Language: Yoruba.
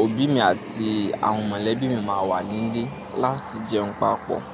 òbí mi àti àwọn mọ̀lẹ́bí mi máa wà nílé láti jẹun papọ̀